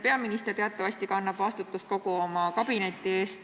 Peaminister teatavasti kannab vastutust kogu oma kabineti eest.